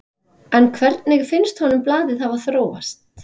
En hvernig finnst honum blaðið hafa þróast?